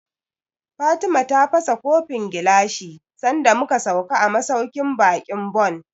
Fatima ta fasa kofin gilashi sanda mu ka sauka a masauƙin baƙin Bon